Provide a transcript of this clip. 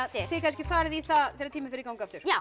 þið kannski farið í það þegar tíminn fer í gang aftur